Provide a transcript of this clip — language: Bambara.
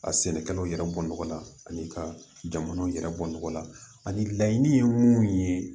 A sɛnɛkɛlaw yɛrɛ bɔ nɔgɔ la ani ka jamanaw yɛrɛ bɔ nɔgɔ la ani laɲini ye mun ye